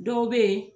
Dɔw bɛ yen